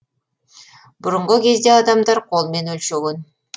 бұрынғы кезде адамдар қолмен өлшеген